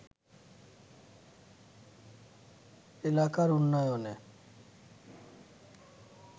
এলাকার উন্নয়নে